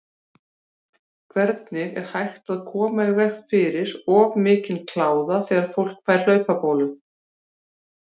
Hvernig er hægt að koma í veg fyrir of mikinn kláða þegar fólk fær hlaupabólu?